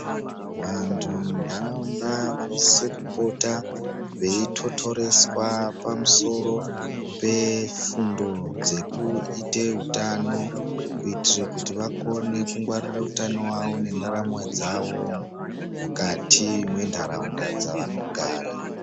Vanthu munharaunda vanosise kupota veithothoreswa pamusoro pefundo dzekuite utano kuitire kuti vakone kungwarire utano hwavo nendaramo dzavo mukati mwenharaunda dzavanogara.